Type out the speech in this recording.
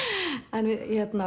en